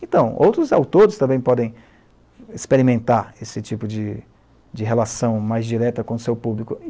Então, outros autores também podem experimentar esse tipo de de relação mais direta com o seu público.